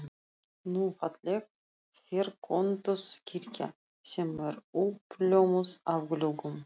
Ný, falleg ferköntuð kirkja sem er uppljómuð af gluggum